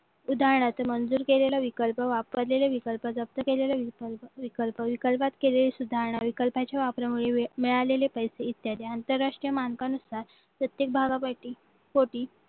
उदाहरणार्थ मंजूर केलेला विकल्प वापरलेला विकल्प जप्त केलेला विकल्प विकल्पात केलेली सुधारणा विकल्पाच्या वापरामुळे मिळालेले पैसे इत्यादी आंतरराष्ट्रीय मानपानानुसार प्रत्येक भागासाठी होती